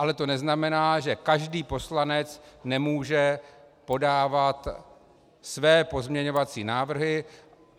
Ale to neznamená, že každý poslanec nemůže podávat své pozměňovací návrhy.